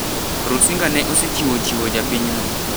Rusinga ne osechiwo chiwo japinyno